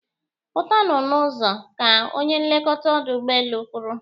Pụtanụ n'ụzọ! Ka onye nlekọta ọdụ ụgbọelu kwuru